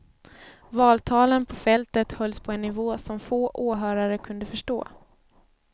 Valtalen på fältet hölls på en nivå som få åhörare kunde förstå.